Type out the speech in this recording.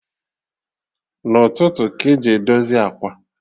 Na ụtụtụ ka eji edozi ákwà